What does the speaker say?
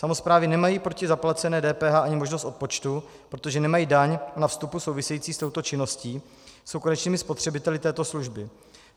Samosprávy nemají proti zaplacené DPH ani možnost odpočtu, protože nemají daň na vstupu související s touto činností, jsou konečnými spotřebiteli této služby.